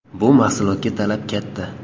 Bu mahsulotga talab katta.